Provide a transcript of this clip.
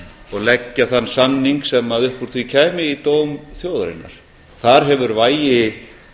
og leggja þann samning sem upp úr því kæmi í dóm þjóðarinnar þar hefur vægi